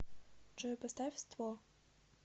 джой поставь ство